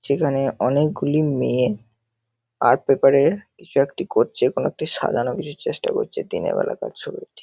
সেখানে অনেকগুলি মেয়ে আর্ট পেপার -এ কিছু একটি করছে কোন একটি সাজানোর কিছু চেষ্টা করছে দিনের বেলাকার ছবি এটি।